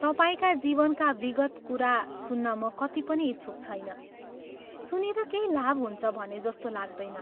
तपाईंका जीवनका विगत कुरा सुन्न म कत्ति पनि इच्छुक छैन सुनेर केही लाभ हुन्छ भने जस्तो लाग्दैन।